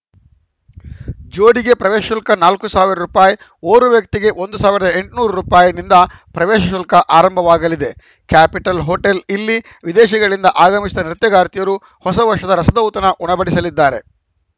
ಜೋಡಿಗೆ ಪ್ರವೇಶ ಶುಲ್ಕ ನಾಲ್ಕು ಸಾವಿರ ರೂಪಾಯಿ ಓರ್ವ ವ್ಯಕ್ತಿಗೆ ಸಾವಿರದ ಎಂಟುನೂರು ರೂಪಾಯಿ ನಿಂದ ಪ್ರವೇಶ ಶುಲ್ಕ ಆರಂಭವಾಗಲಿದೆ ಕ್ಯಾಪಿಟಲ್‌ ಹೋಟೆಲ್‌ ಇಲ್ಲಿ ವಿದೇಶಗಳಿಂದ ಆಗಮಿಸಿದ ನೃತ್ಯಗಾರ್ತಿಯರು ಹೊಸ ವರ್ಷದ ರಸದೌತಣ ಉಣಬಡಿಸಲಿದ್ದಾರೆ